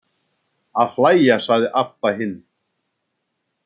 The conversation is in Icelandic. Að hlæja, sagði Abba hin.